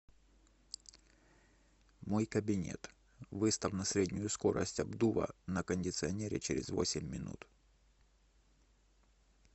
мой кабинет выставь на среднюю скорость обдува на кондиционере через восемь минут